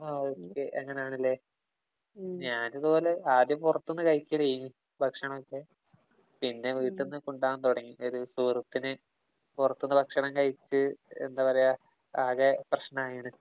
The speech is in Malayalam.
ആ ഒകെ. അങ്ങനെയാണല്ലേ? ഞാന് ഇതുപോലെ ആദ്യം പൊറത്ത്ന്ന് കഴിക്കണീ ഭക്ഷണമൊക്കെ. പിന്നെ വീട്ടിന്നു കൊണ്ടുപോകാന്‍ തുടങ്ങി. ഒരു സുഹൃത്തിന് പൊറത്ത്ന്ന് ഭക്ഷണം കഴിച്ച് എന്താ പറയ്ക. ആകെ പ്രശ്നമായി.